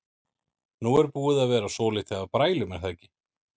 Nú er búið að vera svolítið af brælum er það ekki?